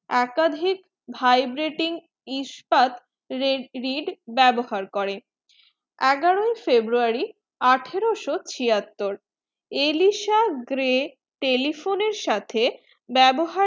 একাধিক vibrating ইস্পাত read ব্যবহার করে এগারো february আঠারোশো ছিয়াত্তর এলিসা গ্রেই telephone সাথে ব্যবহার